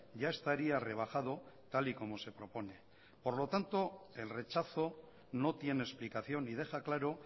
ya estaría rebajado tal y como se propone por lo tanto el rechazo no tiene explicación y deja claro